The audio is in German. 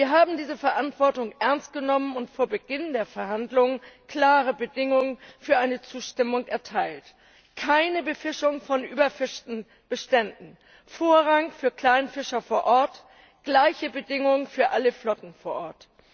Wir haben diese Verantwortung ernst genommen und vor Beginn der Verhandlungen klare Bedingungen für eine Zustimmung erteilt keine Befischung von überfischten Beständen, Vorrang für Kleinfischer vor Ort, gleiche Bedingungen für alle Flotten vor Ort.